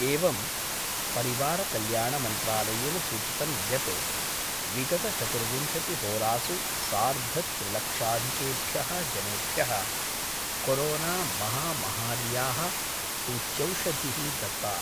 एवं परिवारकल्याणमन्त्रालयेन सूचितं यत् विगतचतुर्विंशतिहोरासु सार्धत्रिलक्षाधिकेभ्यः जनेभ्य: कोरोनामहामहार्यः सूच्यौषधि: दत्ता